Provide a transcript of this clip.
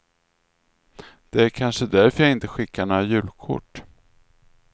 Det är kanske därför jag inte skickar några julkort.